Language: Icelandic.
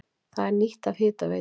Það er nýtt af Hitaveitu